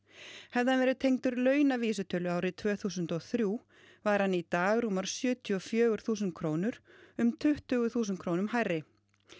hefði hann verið tengdur launavísitölu árið tvö þúsund og þrjú væri hann í dag rúmar sjötíu og fjögur þúsund krónur um tuttugu þúsund krónum hærri